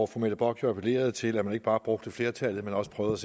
fru mette bock jo appellerede til at man ikke bare brugte flertallet men også prøvede